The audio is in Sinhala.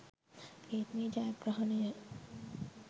ඒත් මේ ජයග්‍රහණය